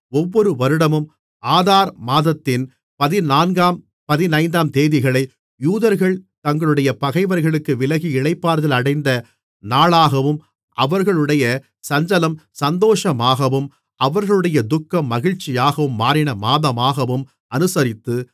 ஒவ்வொரு வருடமும் ஆதார் மாதத்தின் பதினான்காம் பதினைந்தாந்தேதிகளை யூதர்கள் தங்களுடைய பகைவர்களுக்கு விலகி இளைப்பாறுதல் அடைந்த நாட்களாகவும் அவர்களுடைய சஞ்சலம் சந்தோஷமாகவும் அவர்களுடைய துக்கம் மகிழ்ச்சியாகவும் மாறின மாதமாகவும் அநுசரித்து